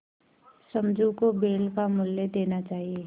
समझू को बैल का मूल्य देना चाहिए